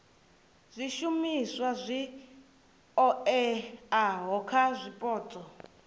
zwishumiswa zwi oeaho kha zwipotso